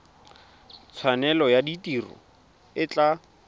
tshwanelo ya tiro e tla